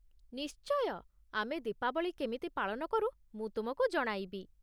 ନିଶ୍ଚୟ, ଆମେ ଦୀପାବଳି କେମିତି ପାଳନ କରୁ ମୁଁ ତୁମକୁ ଜଣାଇବି ।